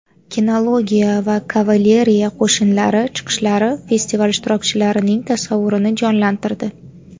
Kinologiya va kavaleriya qo‘shinlari chiqishlari festival ishtirokchilarining tasavvurini jonlantirdi.